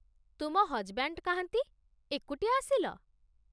ତୁମ ହଜ୍‌ବ୍ୟାଣ୍ଡ୍ କାହାନ୍ତି, ଏକୁଟିଆ ଆସିଲ?